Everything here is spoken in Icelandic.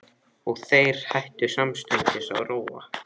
Og þeir hætta samstundis að róa.